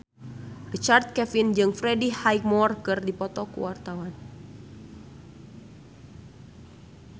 Richard Kevin jeung Freddie Highmore keur dipoto ku wartawan